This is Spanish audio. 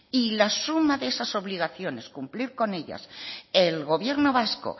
y las sumas de esas obligaciones cumplir con ellas el gobierno vasco